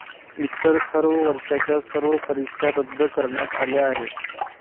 इतर सर्व वर्षाच्या सर्व परीक्षा रद्द करण्यात आल्या आहेत.